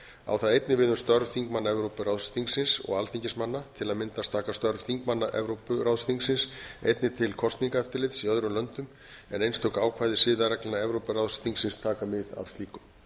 á það einnig við um störf þingmanna evrópuráðsþingsins og alþingismanna til að mynda taka störf þingmanna evrópuráðsþingsins einnig til kosningaeftirlits í öðrum löndum en einstök ákvæði siðareglna evrópuráðsþingsins taka mið af slíku